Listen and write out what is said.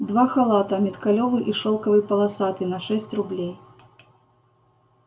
два халата миткалёвый и шёлковый полосатый на шесть рублей